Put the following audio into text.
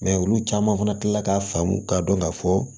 Mɛ olu caman fana kila la k'a faamu k'a dɔn ka fɔ